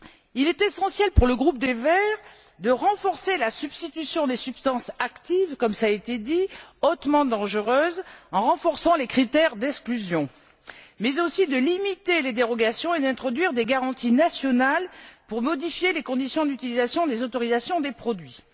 Il est essentiel pour le groupe des Verts de renforcer la substitution des substances actives hautement dangereuses en renforçant les critères d'exclusion, mais aussi de limiter les dérogations et d'introduire des garanties nationales pour la modification des conditions d'utilisation des autorisations de produits.